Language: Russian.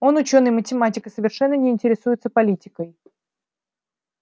он учёный математик и совершенно не интересуется политикой